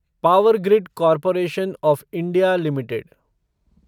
power grid corporation of India limited